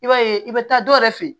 I b'a ye i bɛ taa dɔ yɛrɛ fɛ yen